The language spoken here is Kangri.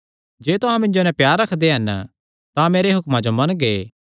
जे तुहां मिन्जो नैं प्यार रखदे हन तां मेरे हुक्मां जो मनगे